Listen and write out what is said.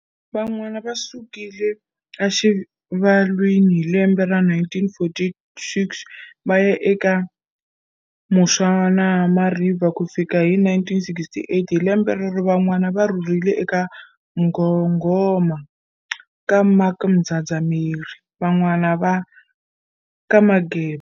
Van'wana va sukile a Xivalwini hi lembe ra 1946 vaya aka eMuswanama river kufikela hi 1968. Hi lembe rero, Van'wana va rhurhele ka Mnghoghoma ka Mark Mdzadzameri, van'wana ka Mageba.